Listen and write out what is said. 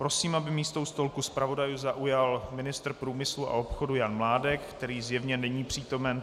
Prosím, aby místo u stolku zpravodajů zaujal ministr průmyslu a obchodu Jan Mládek - který zjevně není přítomen.